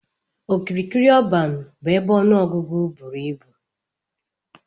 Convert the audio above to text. Okirikiri ọban bu ebe ọnụ ọgụgụ buru ibụ.